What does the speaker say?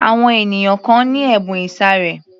Àwọn ènìyàn kan ni ẹ̀bùn ìsàré